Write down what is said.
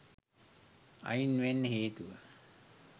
අයින් වෙන්න හේතුව